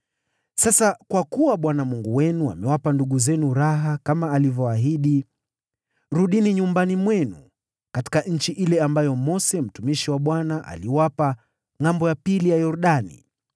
Sasa kwa kuwa Bwana Mungu wenu amewapa ndugu zenu pumziko kama alivyoahidi, rudini nyumbani mwenu katika nchi ile ambayo Mose mtumishi wa Bwana aliwapa ngʼambo ya Yordani.